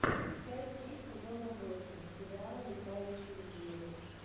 часть три сезона восемь сериала летающие звери